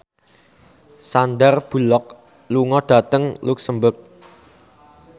Sandar Bullock lunga dhateng luxemburg